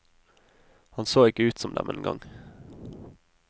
Han så ikke ut som dem engang.